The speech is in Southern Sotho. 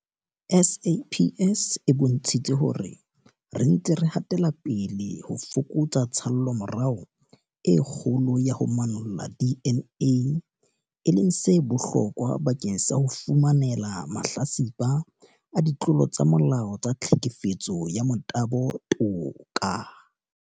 SAPS e bontshitse hore re ntse re hatela pele ho fokotsa tshallomora e kgolo ya ho manolla DNA, e leng se bohlokwa bakeng sa ho fumanela mahlatsipa a ditlolo tsa molao tsa tlhekefetso ya motabo toka.